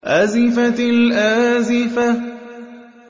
أَزِفَتِ الْآزِفَةُ